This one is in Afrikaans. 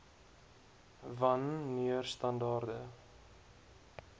wan neer standaarde